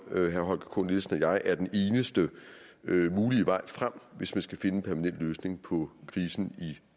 herre holger k nielsen og jeg er den eneste mulige vej frem hvis man skal finde en permanent løsning på krisen i